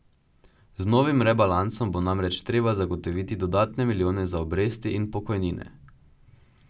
Z novim rebalansom bo namreč treba zagotoviti dodatne milijone za obresti in pokojnine.